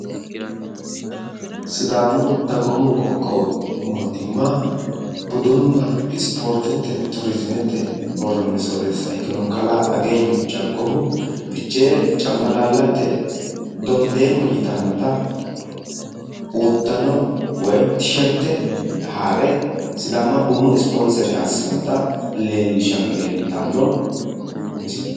Sidaamu dagoomu qoqqowi mootimma budunna ispoortete turiizimete borro mini sooreessa ikkinohu kalaa Agenyo Jagohu Fichee cambalaallate dondeemmo yitannota uddano woyim tisherte haare sidaama bunu ispponsere assinota leellishanno misile.